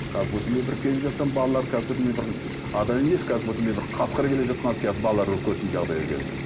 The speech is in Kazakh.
как будто мен бір келе жатсам балалар как будто мен бір адам емес как будто мен бір қасқыр келе жатқан сияқты балалар үркетін жағдайға келді